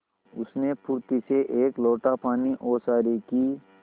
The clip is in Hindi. उसने फुर्ती से एक लोटा पानी ओसारे की